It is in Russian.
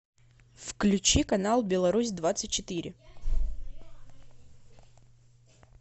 включи канал белорусь двадцать четыре